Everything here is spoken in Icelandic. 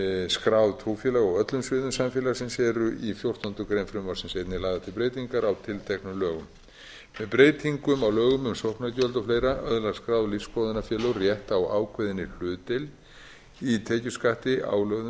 skráð trúfélög á öllum sviðum samfélagsins eru í fjórtándu greinar frumvarpsins einnig lagðar til breytingar á tilteknum lögum með breytingum á lögum um sóknargjöld og fleiri öðlast skráð lífsskoðunarfélög rétt á ákveðinni hlutdeild í tekjuskatti álögðum